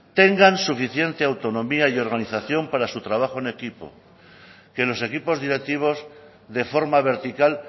tengan suficiente autonomía y organización para su trabajo en equipo que los equipos directivos de forma vertical